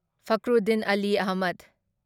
Fakhruddin Ali Ahmed